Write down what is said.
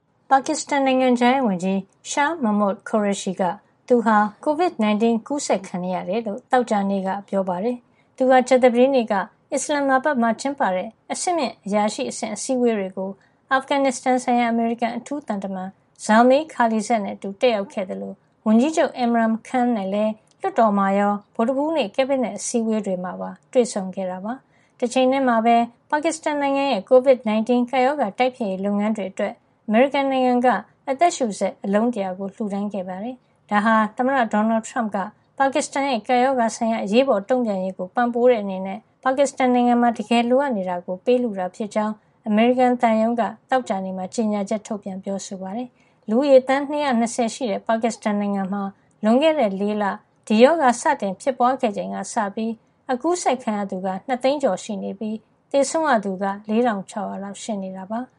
ပါကစ္စတန် နိုင်ငံခြားရေးဝန်ကြီး Shah Mehmood Qureshi က သူဟာ ကိုဗစ် ၁၉ အ ကူးစက်ခံနေရ ကြောင်း သောကြာနေ့ ပြောပါတယ်။ သူဟာ ကြာသပတေးနေ့က အစ္စလန်မာဘတ်မှာ ကျင်းပတဲ့ အဆင့်မြင့်အရာရှိအဆင့် အစည်းဝေးတွေကို အာဖဂန်ဆိုင်ရာ အမေရိကန်အထူးသံတမန် Zalmay Khalilzad နဲ့အတူ တက်ရောက်ခဲ့သလို ဝန်ကြီးချုပ် Imran Khan နဲ့လည်း လွှတ်တော်မှာရော ဗုဒ္ဓဟူးနေ့ ကက်ဘိနက် အစည်းဝေးမှာပါ တွေ့ဆုံခဲ့တာပါ။ တချိန်ထဲမှာပဲ ပါကစ္စတန်နိုင်ငံရဲ့ COVID 19 ကပ်ရောဂါတိုက်ဖျက်ရေးလုပ်ငန်းအတွက် အမေရိကန်နိုင်ငံက အသက်ရှုစက် အလုံး ၁၀၀ လှူဒါန်းခဲ့ပါတယ်။ ဒါဟာ သမ္မတ ဒေါ်နယ်ထရမ့်က ပါကစ္စတန်ရဲ့ ကပ်ရောဂါဆိုင်ရာ အရေးပေါ်တုံ့ပြန်ရေးကို ပံ့ပိုးတဲ့ အနေနဲ့ပါကစ္စတန်နိုင်ငံမှာ တကယ်လိုအပ်နေတာကို ပေးလှူတာ ဖြစ်ကြောင်း အမေရိကန်သံရုံးက သောကြာနေ့မှာ ကြေညာချက်ထုတ်ပြန်ပြောဆိုပါတယ်။ လူဦးရေ သန်း ၂၂၀ ရှိတဲ့ ပါကစ္စတန်နိုင်ငံမှာ လွန်ခဲ့တဲ့ ၄ လ ဒီရောဂါ စတင် ဖြစ်ပွါးခဲ့ချိန်ကစပြီး အကူးစက်ခံရသူ ၂ သိန်းကျော် (၂၂၂ ၀၀၀) ရှိနေပြီး သေဆုံးရသူက ၄ ၆၀၀ လောက်ရှိနေတာပါ။